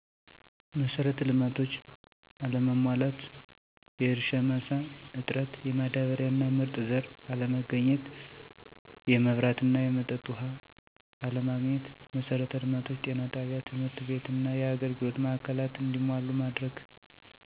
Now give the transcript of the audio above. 1, መሰረተ ልማቶች አለመሟላት። 2, የእርሻ መሳ እጥረት፣ የማዳበሪያ እና ምርጥ ዘር አለማግኘት 3, የመብራት እና የመጠጥ ውሃ አለማግአት። 1, መሰረተ ልማቶችን(ጤና ጣቢያ፣ ትምህርት ቤትና የአገልግሎት ማዕከላትን )እንዲሟሉ ማድረግ። 2, የእርሻ ማሳ፣ ማዳበሪያና ምርጥ ዘር እንዲያገኙ ማድረግ። 3, መብራት(የሶላር አቅርቦት) እና የመጠጥ ውሃ እንዲያገኙ ማድረግ።